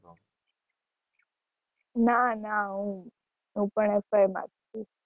ના ના હું પણ fy માં જ છુ